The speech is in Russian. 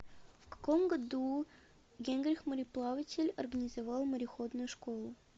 в каком году генрих мореплаватель организовал мореходную школу